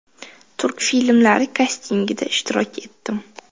Turk filmlari kastingida ishtirok etdim.